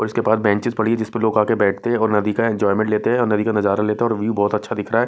उसके पास बेंचेस पड़ी है जिस पर लोग आके बैठते हैं और नदी का एंजॉयमेंट लेते हैं और नदी का नजारा लेते हैं और व्यू बहुत अच्छा दिख रहा --